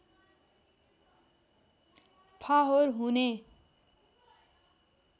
फाहोर हुने